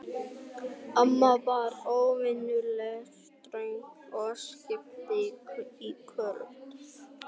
Amma var óvenjulega ströng á svipinn í kvöld.